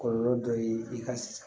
Kɔlɔlɔ dɔ ye i ka sisan